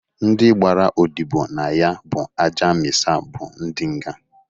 Ndị gbara odibo na ya bụ Aja Mịsa bụ ndị nga.